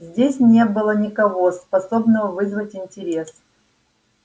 здесь не было никого способного вызвать интерес